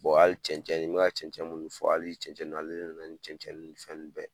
hali cɛncɛn cɛncɛn n mi ka cɛncɛn fɔ hali cɛncɛn nunnu ale de nana ni cɛncɛn nunnu ni fɛn bɛɛ ye.